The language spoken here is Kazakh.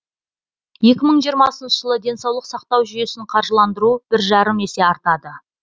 екі мың жиырмасыншы жылы денсаулық сақтау жүйесін қаржыландыру бір жарым есе артады